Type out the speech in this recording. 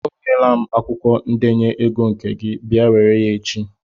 O nyela m akwụkwọ ndenye ego nke gị, bịa were ya echi!